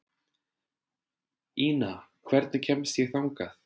Ina, hvernig kemst ég þangað?